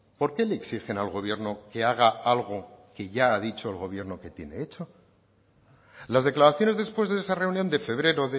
por qué le exigen al gobierno que haga algo que ya ha dicho el gobierno que tiene hecho las declaraciones después de esa reunión de febrero